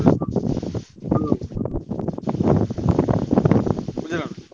ବୁଝିଲ ନାଁ?